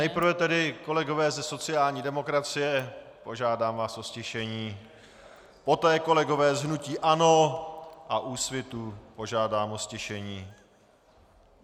Nejprve tedy, kolegové ze sociální demokracie, požádám vás o ztišení, poté kolegy z hnutí ANO a Úsvitu, požádám o ztišení.